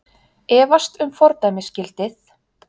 Efast um fordæmisgildið